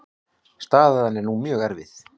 Staðan sé nú mjög erfið.